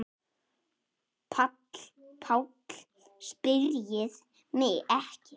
PÁLL: Spyrjið mig ekki.